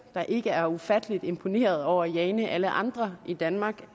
der ikke er ufattelig imponerede over jane alle andre i danmark